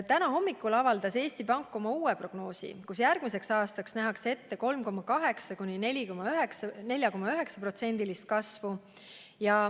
Täna hommikul avaldas Eesti Pank oma uue prognoosi, milles järgmiseks aastaks nähakse ette 3,8–4,9% kasvu.